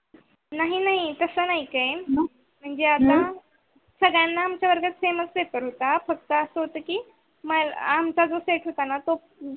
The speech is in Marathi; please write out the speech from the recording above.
नाही नाही तस नाही, ते म्हणजे आता सगळ्यांना आमच्या वर्गात same pepare होता फक्त अस होत की आमच जे set होता ना तो